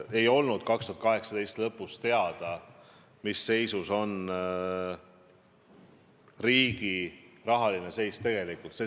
Ei olnud 2018. aasta lõpus teada, mis seisus riigi rahandus tegelikult on.